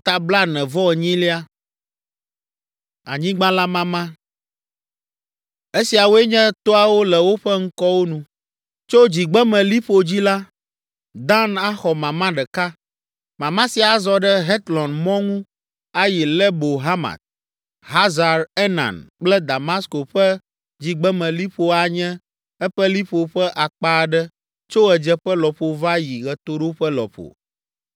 “Esiawoe nye toawo le woƒe ŋkɔwo nu: “Tso dzigbemeliƒo dzi la, Dan axɔ mama ɖeka. Mama sia azɔ ɖe Hetlon mɔ ŋu ayi Lebo Hamat. Hazar Enan kple Damasko ƒe dzigbemeliƒo anye eƒe liƒo ƒe akpa aɖe tso ɣedzeƒe lɔƒo va yi ɣetoɖoƒe lɔƒo.